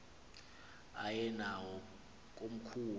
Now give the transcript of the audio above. aye nawo komkhulu